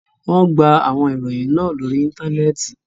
Wọn gbà àwọn ìròyìn ná lórí ìntánẹẹ̀tì.